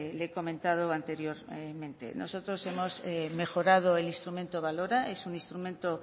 le he comentado anteriormente nosotros hemos mejorado el instrumento balora es un instrumento